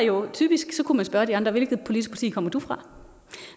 og typisk kunne man spørge de andre hvilket politisk parti kommer du fra